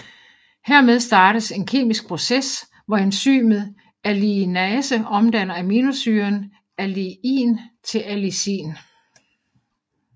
Hermed startes en kemisk proces hvor enzymet alliinase omdanner aminosyren alliin til allicin